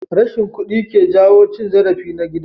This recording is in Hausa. Rashin kuɗi ke jawo cin zarafi na gida.